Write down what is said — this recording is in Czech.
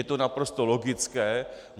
Je to naprosto logické.